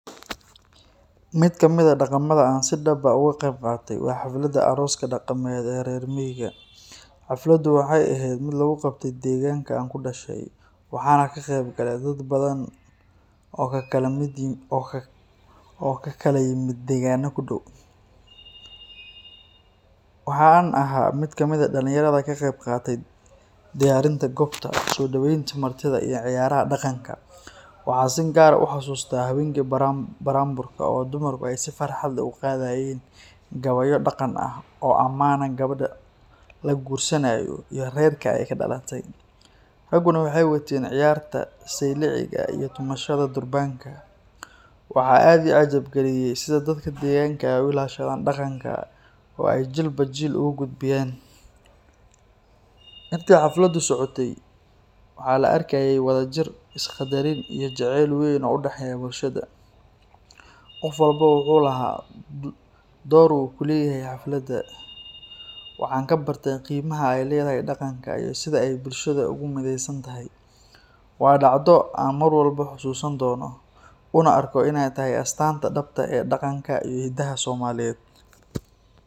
Mid kamid ah dhaqamada aan si dhab ah uga qeyb qaatay waa xafladda arooska dhaqameed ee reer miyiga. Xafladdu waxay ahayd mid lagu qabtay deegaanka aan ku dhashay, waxaana ka qeyb galay dad badan oo ka kala yimid deegaanada ku dhow. Waxa aan ahaa mid kamid ah dhalinyarada ka qeyb qaadatay diyaarinta goobta, soo dhaweynta martida iyo ciyaaraha dhaqanka. Waxaan si gaar ah u xasuustaa habeenkii buraanburka, oo dumarku ay si farxad leh u qaadayeen gabayo dhaqan ah oo ammaana gabadha la guursanayo iyo reerka ay ka dhalatay. Ragguna waxay wateen ciyaarta sayliciga iyo tumashada durbaanka. Waxaa aad ii cajab geliyay sida dadka deegaanka ay u ilaashadaan dhaqanka oo ay jiilba jiil ugu gudbiyaan. Intii xafladdu socotay, waxaa la arkayay wadajir, is qadarin, iyo jacayl weyn oo u dhexeeya bulshada. Qof walba wuxuu lahaa door uu ku leeyahay xafladda. Waxaan ka bartay qiimaha ay leedahay dhaqanka iyo sida ay bulshada ugu mideysan tahay. Waa dhacdo aan mar walba xusuusan doono, una arko inay tahay astaanta dhabta ah ee dhaqanka iyo hidaha Soomaaliyeed.